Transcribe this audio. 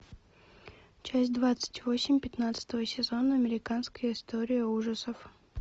часть двадцать восемь пятнадцатого сезона американская история ужасов